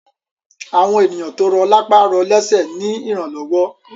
Àwọn ènìyàn tó rọ̀ lápá rọ lésẹ̀ rí ìrànlọ́wọ́